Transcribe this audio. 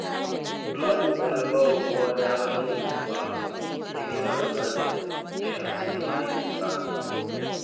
Ina kokarin ba wa kowa damar jin natsuwa idan yana bukatar shi cikin dakinsa.